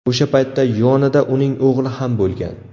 O‘sha paytda yonida uning o‘g‘li ham bo‘lgan.